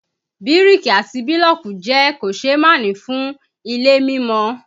Bíríkì àti bílọ̀kì jẹ́ kòseémánì fún ilé mímọ